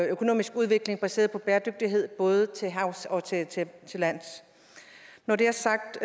økonomisk udvikling baseret på bæredygtighed både til havs og til lands når det er sagt